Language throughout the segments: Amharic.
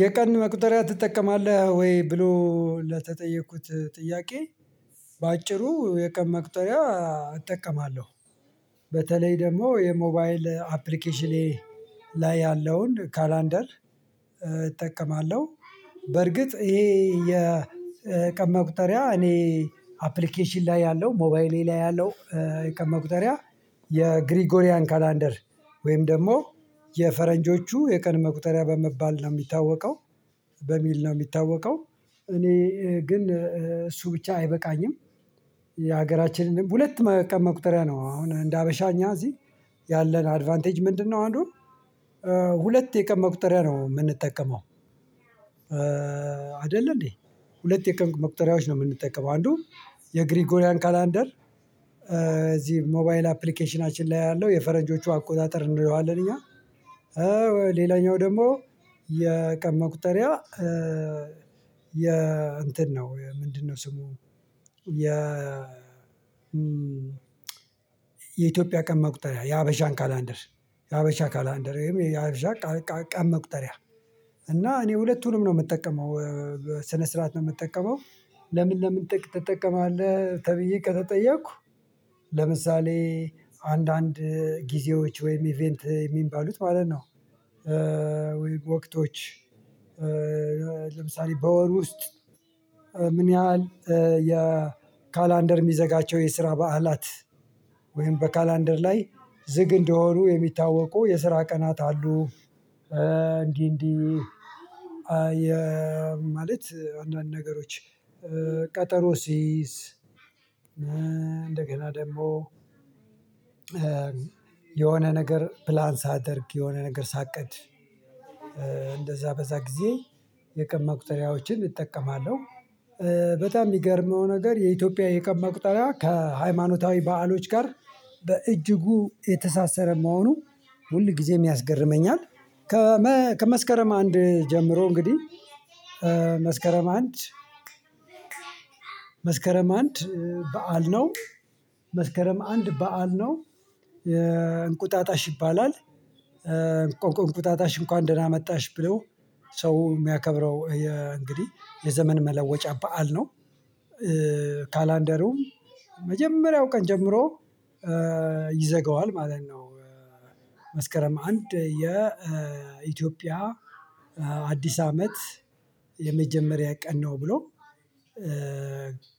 የቀን መቁጠሪያ ትጠቀማለህ ወይ? ብሎ ለተጠየኩት ጥያቄ በአጭሩ የቀን መቅጠሪያ እጠቀማለሁ። በተለይ ደግሞ የሞባይል አፕሊኬሽኔ ላይ ያለውን 'ካላንደር' እጠቀማለሁ። በርግጥ ይሄ የቀን መቁጠሪያ እኔ አፕሊኬሽን ላይ ያለው ሞባይሌ ላይ ያለው የቀን መቁጠሪያ የ'ግሪጎሪያን ካላንደር' ወይም ደግሞ የፈረንጆቹ የቀን መቁጠሪያ በመባል ነው የሚታወቀው። በሚል ነው የሚታወቀው። እኔ ግን እሱ ብቻ አይበቃኝም። የሀገራችንን ሁለት መቁጠሪያ ነው አሁን እንደ ሀበሻ እኛ እዚህ ያለን 'አድቫንቴጅ' ምንድነው አንዱ ሁለት የቀን መቁጠሪያ ነው የምንጠቀመው። አይደለ እንዴ? ሁለት የቀን መቁጠሪያዎች ነው የምንጠቀመው። አንዱ የ'ግሪጎሪያን ካላንደር' እዚህ ሞባይል አፕሊኬሽናችን ላይ ያለው የፈረንጆቹ አቆጣጠር እንለዋለን እኛ። ሌላኛው ደግሞ የቀን መቁጠሪያ የ እንትን ነው ምንድነው ስሙ የ የኢትዮጵያ ቀን መቁጠሪያ የሀበሻን 'ካላንደር' የሀበሻ 'ካላንደር' ወይም የሀበሻ ቀን መቁጠሪያ እና እኔ ሁለቱንም ነው የምጠቀመው። በስነ ስርዓት ነው የምጠቀመው። ለምን ለምን ትጠቀመዋለህ ተብዬ ከተጠየኩ ለምሳሌ አንድአንድ ጊዜዎች ወይም 'ኢቨንት' የሚባሉት ማለት ነው ወቅቶች ለምሳሌ በወር ውስጥ ምን ያህል የ'ካላንደር' የሚዘጋቸው የስራ በዓላት ወይም በ'ካላንደር' ላይ ዝግ እንደሆኑ የሚታወቁ የስራ ቀናት አሉ። እንዲህ እንዲህ ማለት አንድአንድ ነገሮች ቀጠሮ ስይዝ እንደገና ደግሞ የሆነ ነገር 'ፕላን' ሳደርግ የሆነ ነገር ሳቅድ እንደዛ በዛ ጊዜ የቀን መቁጠሪያዎችን እጠቀማለሁ። በጣም የሚገርመው ነገር የኢትዮጵያ የቀን መቁጠሪያ ከሃይማኖታዊ በዓሎች ጋር በእጅጉ የተሳሰረ መሆኑ ሁል ጊዜም ያስገርመኛል። ከመስከረም አንድ ጀምሮ እንግዲህ መስከረም አንድ መስከረም አንድ በዓል ነው። መስከረም አንድ በዓል ነው። የ እንቁጣጣሽ ይባላል። እንቁጣጣሽ እንኳን ደህና መጣሽ ብለው ሰው የሚያከብረው እንግዲህ የዘመን መለወጫ በዓል ነው። 'ካላንደሩም' መጀመሪያው ቀን ጀምሮ ይዘጋዋል ማለት ነው። መስከረም አንድ የኢትዮጵያ አዲስ አመት የመጀመሪያ ቀን ነው ብሎ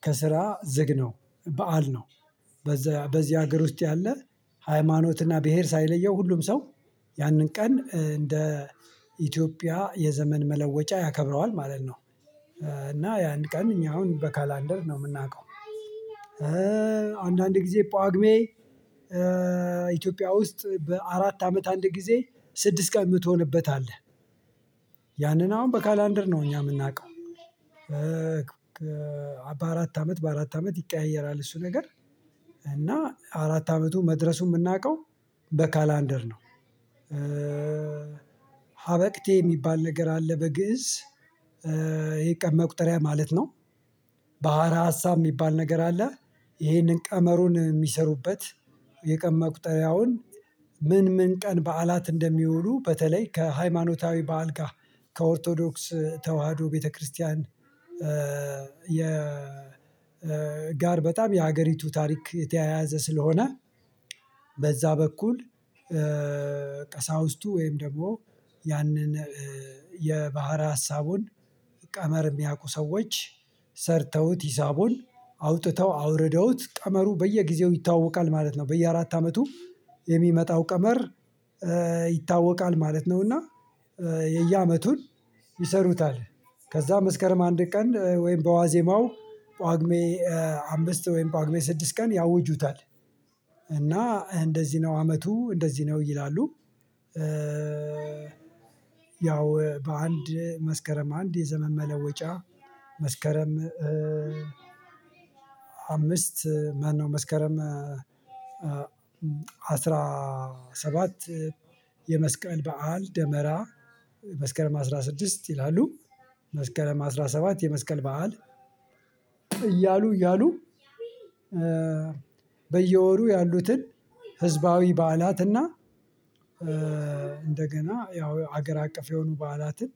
ከስራ ዝግ ነው በዓል ነው። በዚህ በዚህ ሀገር ውስጥ ያለ ሃይማኖትና ብሄር ሳይለየው ሁሉም ሰው ያንን ቀን እንደ ኢትዮጵያ የዘመን መለወጫ ያከብረዋል ማለት ነው። እና ያን ቀን እኛ አሁን በ'ካላንደር' ነው የምናውቀው። አንድአንድ ጊዜ ጳጉሜ ኢትዮጵያ ውስጥ በአራት አመት አንድ ጊዜ ስድስት ቀን የምትሆንበት አለ። ያንን አሁን በ'ካላንደር' ነው እኛ የምናውቀው። በአራት አመት በአራት አመት ይቀያየራል እሱ ነገር። እና አራት አመቱ መድረሱን የምናውቀው በ'ካላንደር' ነው። 'ሀበቅቴ' የሚባል ነገር አለ በግእዝ። የቀን መቁጠሪያ ማለት ነው። 'ባህረ ሀሳብ' የሚባል ነገር አለ ይሄንን ቀመሩን የሚሰሩበት የቀን መቁጠሪያውን ምን ምን ቀን በዓላት እንደሚውሉ በተለይ ከሃይማኖታዊ በዓል ጋር ከኦርቶዶክስ ተዋህዶ ቤተክርስቲያን የ ጋር በጣም የሀገሪቱ ታሪክ የተያያዘ ስለሆነ በዛ በኩል ቀሳውስቱ ወይም ደግሞ ያንን የባህር ሀሳቡን ቀመር የሚያውቁ ሰዎች ሰርተውት ሂሳቡን አውጥተው አውርደውት ቀመሩ በየጊዜው ይታወቃል ማለት ነው። በየአራት አመቱ የሚመጣው ቀመር ይታወቃል ማለት ነው። እና የ የአመቱን ይሰሩታል። ከዛ መስከረም አንድ ቀን ወይም በዋዜማው ጳጉሜ አምስት ወይም ጳጉሜ በስድስት ቀን ያውጁታል። እና እንደዚህ ነው አመቱ እንደዚህ ነው ይላሉ። ያው በአንድ መስከረም አንድ የዘመን መለወጫ መስከረም አምስት ማነው መስከረም አስራ ሰባት የመስቀል በዓል ደመራ መስከረም አስራ ስድስት ይውላሉ። መስከረም አስራ ሰባት የመስቀል በዓል እያሉ እያሉ በየወሩ ያሉትን ህዝባዊ በዓላት እና እንደገና ያው ሀገር አቀፍ የሆኑ በዓላትን